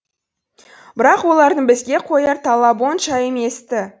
бірақ олардың бізге қояр талабы онша емес ті